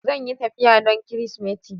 Zan yi tafiya don Kirsimeti.